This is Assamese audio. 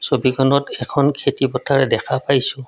ছবিখনত এখন খেতি পথাৰ দেখা পাইছোঁ।